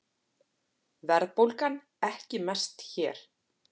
Verðbólgan ekki mest hér